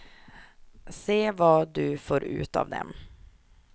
Se vad du får ut av dem.